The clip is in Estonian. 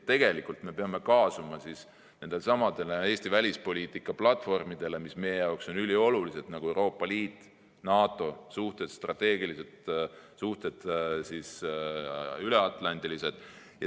Tegelikult me peame kaasuma nendesamade Eesti välispoliitika platvormidega, mis meie jaoks on üliolulised, nagu Euroopa Liit, NATO, strateegilised suhted üleatlandiliselt.